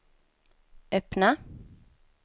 öppna